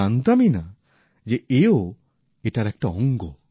আমি জানতামই না যে এও এটার একটা অঙ্গ